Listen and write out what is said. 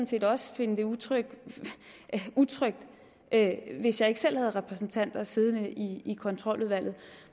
set også finde det utrygt utrygt hvis jeg ikke selv havde repræsentanter siddende i kontroludvalget